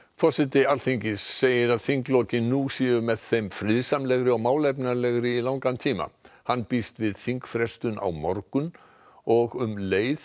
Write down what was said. forseti Alþingis segir að þinglokin nú séu með þeim friðsamlegri og málefnalegri í langan tíma hann býst við þingfrestun á morgun og um leið